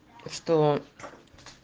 что